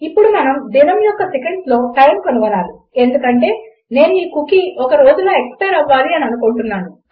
ఇప్పుడు మనం దినము యొక్క సెకండ్స్లో టైమ్ కనుగొనాలి ఎందుకంటే నేను ఈ కుకీ ఒక రోజులో ఎక్స్పైర్ అవ్వాలి అనుకుంటున్నాను